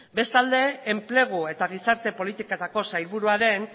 bestalde enplegu eta gizarte politiketako sailburuaren